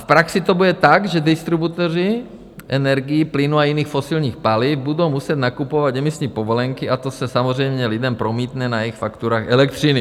V praxi to bude tak, že distributoři energií, plynu a jiných fosilních paliv budou muset nakupovat emisní povolenky a to se samozřejmě lidem promítne na jejich fakturách elektřiny.